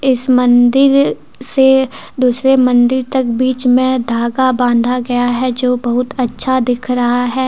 इस मंदिर से दूसरे मंदिर तक बीच में धागा बांधा गया है जो बहुत अच्छा दिख रहा है।